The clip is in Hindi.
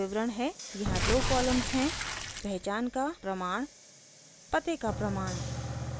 यहाँ दो कॉलम्स हैं